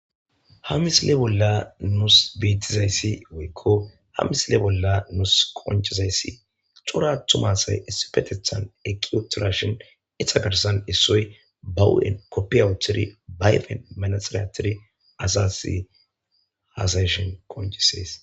ha misile bolla nus beetizayssi woykko ha misile bolla nus konchizayssi xora attumasay essifetethan ekiotorashon iha garsan issoy bahu7en koppiawuthori bayfe manaxiryatiri azasi hasayshin qoncisees.